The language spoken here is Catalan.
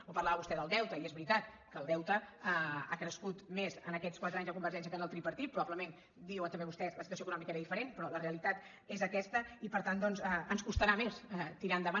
o parlava vostè del deute i és veritat que el deute ha crescut més aquests quatre anys de convergència que amb el tripartit probablement diu també vostè la situació econòmica era diferent però la realitat és aquesta i per tant doncs ens costarà més tirar endavant